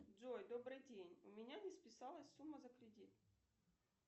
джой добрый день у меня не списалась сумма за кредит